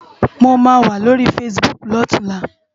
Mó má wá lóri fásibúk lòtúnlá